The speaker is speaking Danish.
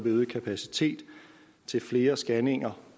øget kapacitet til flere scanninger